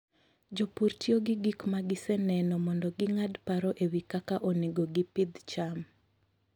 Jopur tiyo gi gik ma giseneno mondo ging'ad paro e wi kaka onego gipidh cham.